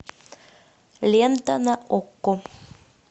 лента на окко